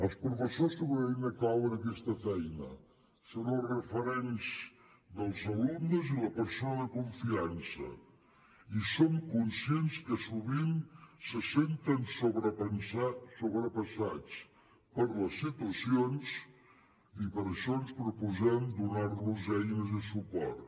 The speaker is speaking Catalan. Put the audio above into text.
els professors són una eina clau en aquesta feina són els referents dels alumnes i la persona de confiança i som conscients que sovint se senten sobrepassats per les situacions i per això ens proposem donar los eines i suport